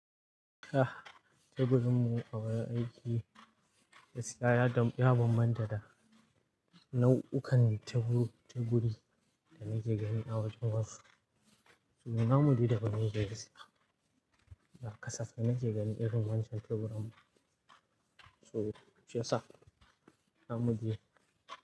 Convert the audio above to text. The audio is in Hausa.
Ah, teburin mu a wurin aiki, gaskiya ya bambanta da nau'ukan teburi teburi da nake gani a wajen wasu. To namu dai daban yake gaskiya, ba kasafai nake gani irin wancan teburin. To shi yassa? Namu dai.